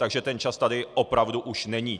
Takže ten čas tady opravdu už není.